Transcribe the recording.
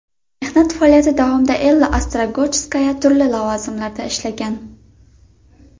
Mehnat faoliyati davomida Ella Ostrogojskaya turli lavozimlarda ishlagan.